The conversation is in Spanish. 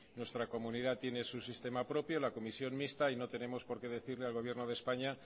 nuestra comunidad tiene su sistema propio la comisión mixta y no tenemos por qué decirle al gobierno de españa